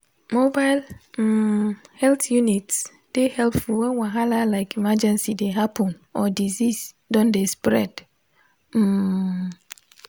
mobile um health units dey helpful when wahala like emergency dey happen or disease don dey spread um